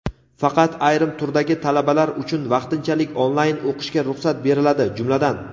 Faqat ayrim turdagi talabalar uchun vaqtinchalik onlayn o‘qishga ruxsat beriladi, jumladan:.